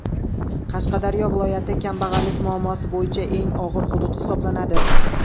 Qashqadaryo viloyati kambag‘allik muammosi bo‘yicha eng og‘ir hudud hisoblanadi.